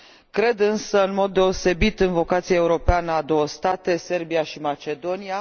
Cred însă, în mod deosebit, în vocația europeană a două state, Serbia și Macedonia.